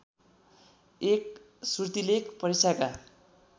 एक श्रुतिलेख परीक्षाका